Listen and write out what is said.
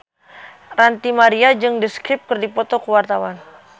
Ranty Maria jeung The Script keur dipoto ku wartawan